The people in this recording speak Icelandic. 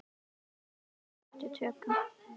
Sveitin sleppti tökum.